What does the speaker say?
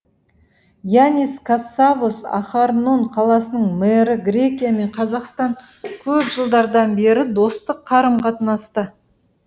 яннис кассавос ахарнон қаласының мэрі грекия мен қазақстан көп жылдардан бері достық қарым қатынаста